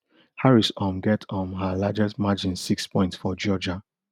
harris um get um her largest margin six points for georgia